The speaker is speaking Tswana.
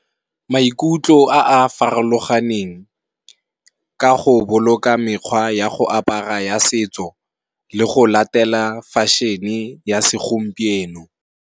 Maikutlo a a farologaneng ka go boloka mekgwa ya go apara ya setso le go latela fashion-e ya se gompieno.